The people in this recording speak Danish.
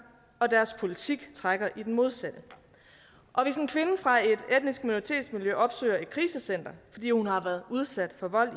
og deres politik trækker i den modsatte hvis en kvinde fra et etnisk minoritetsmiljø opsøger et krisecenter fordi hun har været udsat for vold